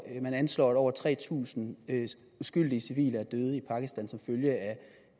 man anslår at over tre tusind uskyldige civile er døde i pakistan som følge